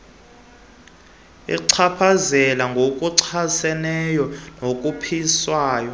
achaphazele ngokuchaseneyo nokhuphiswano